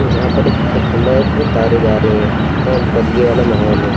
जहां पर एक खंभा उसमें तारे जा रही हैं बदली वाला माहौल है।